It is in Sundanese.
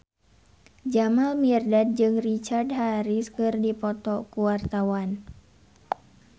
Jamal Mirdad jeung Richard Harris keur dipoto ku wartawan